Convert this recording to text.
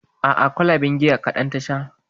A'a kwalaben giya kaɗan ta sha